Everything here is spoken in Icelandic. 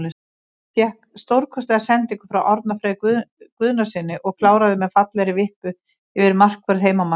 Fékk stórkostlega sendingu frá Árna Frey Guðnasyni og kláraði með fallegri vippu yfir markvörð heimamanna.